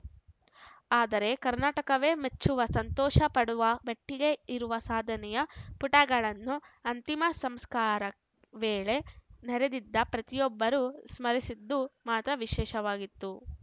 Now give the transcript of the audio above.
ಆದರೆ ಕರ್ನಾಟಕವೇ ಮೆಚ್ಚುವ ಸಂತೋಷ ಪಡುವ ಮಟ್ಟಿಗೆ ಇರುವ ಸಾಧನೆಯ ಪುಟಗಳನ್ನು ಅಂತಿಮ ಸಂಸ್ಕಾರ ವೇಳೆ ನೆರೆದಿದ್ದ ಪ್ರತಿಯೊಬ್ಬರೂ ಸ್ಮರಿಸಿದ್ದು ಮಾತ್ರ ವಿಶೇಷವಾಗಿತ್ತು